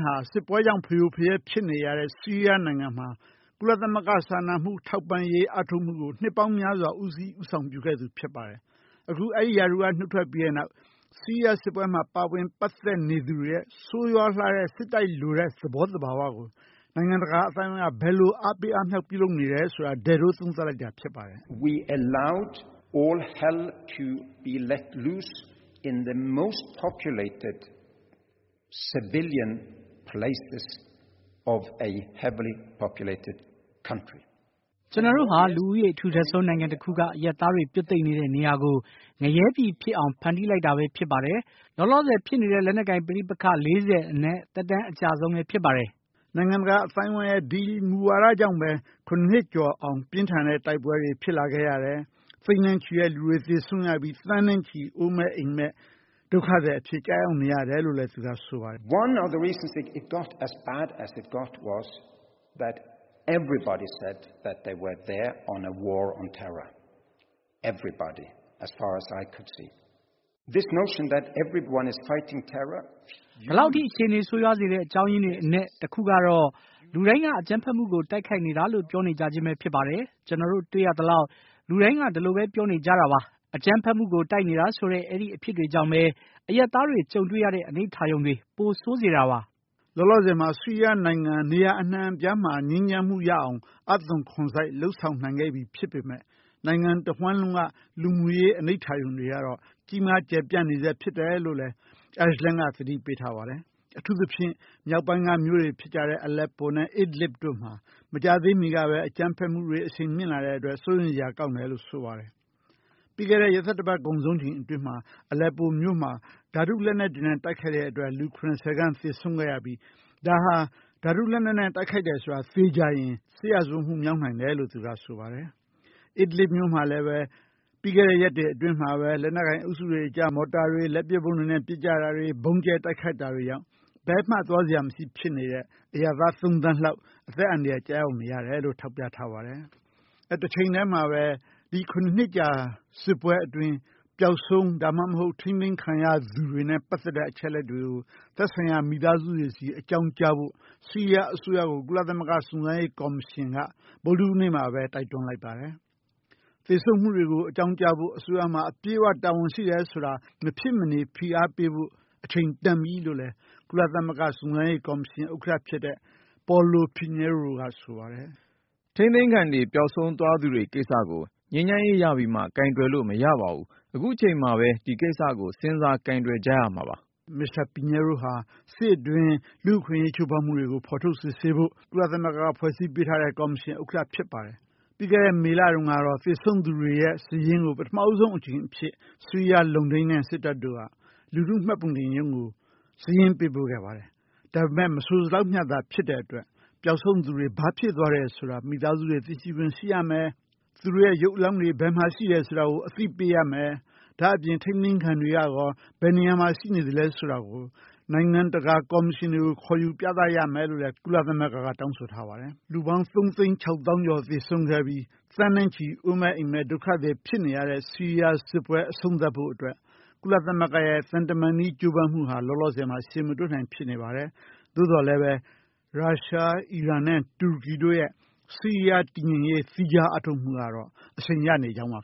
ဟာစစ်ပွဲကြောင့် ဖရိုဖရဲဖြစ်နေတဲ့ ဆီးရီးယားနိုင်ငံမှာ ကုလသမဂ္ဂ စာနာမှု ထောက်ပံ့ရေးကို နှစ်ပေါင်းများစွာ ဦးစီးဦးဆောင်ပြုခဲ့သူဖြစ်ပါတယ်။ အခု အဲဒီရာထူးက နုတ်ထွက်ပြီးတဲ့နောက် ဆီးရီးယားစစ်ပွဲမှာ ပါဝင်ပတ်သက်နေသူတွေရဲ့ ဆိုးရွားလှတဲ့ စစ်တိုက်လိုတဲ့ သဘောသဘာဝကို နိုင်ငံတကာအသိုင်းအဝိုင်းက ဘယ်လိုအားပေး အားမြောက်ပြုလုပ်နေတယ် ဆိုတာ သုံးသပ်နေတာဖြစ်ပါတယ်။ “ကျနော်တို့ဟာ လူဦးရေထူထပ်ဆုံးနိုင်ငံတခုက အရပ်သားတွေ ပြွတ်သိပ်နေတဲ့ နေရာကို ငရဲပြည်ဖြစ်အောင် ဖန်တီးလိုက်တာပဲ။ လောလောဆည်ဖြစ်နေတဲ့ လက်နက်ကိုင် ပဋိပက္ခ ၄၀ အနက် သက်တမ်းအကြာဆုံးပဲ ဖြစ်ပါတယ်။” နိုင်ငံတကာအသိုင်းအဝိုင်းက ဒီမူဝါဒကြောင့်ပဲ ၇ နှစ်ကျော်အောင် ပြင်းထန်တဲ့ တိုက်ပွဲတွေ ဖြစ်လာခဲ့ရတယ်။ သိန်းနဲ့ချီတဲ့ လူတွေသေဆုံးခဲ့ရပြီး သန်းနဲ့ချီအိုးမဲ့အိမ်မဲ့ ဒုက္ခသည်အဖြစ် ဖြစ်ခဲ့ရတယ်လို့ ဆိုပါတယ်။ “ဘယ်လောက်အထိ အခြေအနေဆိုးဝါးစေတဲ့အကြောင်းအရင်းတွေအနက် တခုကတော့ လူတိုင်းကအကြမ်းဖက်မှုကို တိုက်ခိုက်နေတာလို့ ပြောနေကြခြင်းပဲဖြစ်ပါတယ်။ ကျနော်တို့တွေ့ရသလောက် လူတိုင်းက ဒီလိုပဲ ပြောနေကြတာပါ။ အကြမ်းဖက်မှုကို တိုက်ခိုက်နေတယ်ဆိုတဲ့ အဲဒီအဖြစ်တွေကြောင့်ပဲ အရပ်သားတွေကြုံတွေ့ရတဲ့ အနိဋ္ဌာရုံတွေ ပိုဆိုးစေတာပါ။” လောလောဆည်မှာ ဆီးရီးယားနိုင်ငံ အနှံ့အပြားမှာ ငြိမ်းချမ်းမှုရအောင် အားသွန်ခွန်စိုက် လုပ်ဆောင်နိုင်ခဲ့ပြီဖြစ်ပေမယ့် နိုင်ငံတဝှမ်းလုံးက လူမှုရေး အနိဋ္ဌာရုံတွေကတော့ ကြီးမားကျယ်ပြန့်စဲဖြစ်တယ်လို့ Egeland က သတိပေးထားပါတယ်။ အထူးသဖြင့် မြောက်ပိုင်းကမြို့တွေဖြစ်တဲ့ အလက်ပိုနဲ့ Idlib တို့မှာ မကြာသေးမီကပဲ အကြမ်းဖက်မှုတွေ အရှိန်မြင့်လာတဲ့အတွက် စိုးရိမ်စရာကောင်းတယ်လို့ ဆိုပါတယ်။ ပြီးခဲ့တဲ့ ရက်သတ္တပတ်ကုန်ဆုံးချိန်အတွင်းမှာအလက်ပိုမြို့မှာ ဓါတုလက်နက်တွေနဲ့ တိုက်ခဲ့တဲ့အတွက် လူ ၇၀ ခန့်သေဆုံးခဲ့ရပြီး ဒါဟာ ဓါတုလက်နက်နဲ့ တိုက်ခိုက်တယ်ဆိုတာ တနေ့ကျရင် စစ်ရာဇဝတ်မှုမြောက်နိုင်တယ်လို့ သူကဆိုပါတယ်။ Idlib မြို့မှာလည်း ပြီးခဲ့တဲ့ရက်တွေအတွင်းမှာပဲ လက်နက်ကိုင် အုပ်စုတွေအကြား မော်တာတွေ လက်ပစ်ဗုံးတွေနဲ့ ပစ်ကြတဲ့ ဗုံးကျဲတိုက်ခိုက်တာတွေကြောင့် ဘယ်မှ သွားစရာမရှိဖြစ်နေတဲ့ အရပ်သား သုံးသန်းလောက်အသက်အန္တရာယ်ကျရောက်နေရတယ်လို့ထောက်ပြထားပါတယ်။ တချိန်တည်းမှာပဲ ဒီ ၇ နှစ်ကြာစစ်ပွဲအတွင်း ပျောက်ဆုံး ဒါမှမဟုတ် ထိန်းသိမ်းခံရသူတွေနဲ့ ပတ်သက်တဲ့ အချက်အလက်တွေကို သက်ဆိုင်ရာမိသားစုစီအကြောင်းကြားဖို့ ဆီးရီးယားကို ကုလ စုံစမ်းရေးကေ်ာမရှင်က ဗုဒ္ဒဟူးနေ့မှာပဲ တိုက်တွန်းလိုက်ပါတယ်။ သေဆုံးမှုတွေကို အကြောင်းကြားဖို့ အစိုးရမှာ အပြည့်အ၀ တာဝန်ရှိတယ်ဆိုတာ မဖြစ်မနေဖိအားပေးဖို့ အချိန်တန်ပြီလို့လဲ ကုလသမဂ္ဂစုံစမ်းရေးကေ်ာမရှင်ဥက္ကဋ္ဌဖြစ်တဲ့ Paulo Pinheiro ကဆိုပါတယ်။ “ထိန်းသိမ်းခံတွေ ပျောက်ဆုံးသွားသူတွေကိစ္စကို ငြိမ်းချမ်းရေးရပြီးမှ ကိုင်တွယ်လို့ မရပါဘူး။ အခုအချိန်မှာပဲ ဒီကိစ္စကို စဉ်းစားကိုင်တယ်ကြရမှာပါ။” Mr. Pinheiro ဟာ စစ်အတွင်း လူ့အခွင့်အရေးချိုးဖောက်မှုတွေကို ဖော်ထုတ်စစ်ဆေးဖို့ ကုလသမဂ္ဂ ဖွဲ့စည်းပေးထားတဲ့ ကော်မရှင် ်ဥက္ကဋ္ဌဖြစ်ပါတယ်။ ပြီးခဲ့တဲ့ မေလတုန်းကတော့ သေဆုံးသူတွေရဲ့ စာရင်းကို ပထမဦးဆုံးအကြိမ်အဖြစ် ဆီးရီးယားလုံခြုံရေးစစ်တပ်တို့က လူထုမှတ်ပုံတင်ရုံးကို စာရင်းပေးပို့ခဲ့ပါတယ်။ ဒါပေမယ့် မဆိုစလောက်မျှသာ ဖြစ်တဲ့အတွက် ပြောက်ဆုံးသူတွေ ဘာဖြစ်သွားတယ်ဆိုတာ မိသားစုတွေ သိရှိခွင့်ရှိရမယ် ၊ သူတို့ရုပ်အလောင်းတွေ ဘယ်မှာရှိတယ်ဆိုတာကို အသိပေးရမယ်။ ဒါ့အပြင် ထိန်းသိမ်းခံတွေကရော ဘယ်နေရာမှာ ရှိနေသလဲဆိုတာကို နိုင်ငံတကာကော်မရှင်တွေကို ခေါ်ယူပြသရမယ်လို့ ကုလသမဂ္ဂ တောင်းဆိုထားပါတယ်။ လူပေါင်း ၃ သိန်း ၆ သောင်းကျော်သေဆုံးခဲ့ပြီး သန်းနဲ့ချီ အိုးမဲ့အိမ်မဲ့ ဒုက္ခသည်ဖြစ်နေရတဲ့ ဆီးရီးယားစစ်ပွဲ အဆုံးသတ်ဖို့အတွက် ကုလသမဂ္ဂ ရဲ့ သံတမန်နည်းကြိုးပမ်းမှုဟာ လောလောဆည်မှာ အဖြေမတွေ့နိုင်ဖြစ်နိုင်ပါတယ်။ သို့သော်လည်း Russia ၊ အီရန် ၊ တူရကီတို့ရဲ့ စစ်အင်အားတည်ငြိမ်ရေး အားထုတ်မှုကတော့ အရှိန်ရနေကြောင်းပါ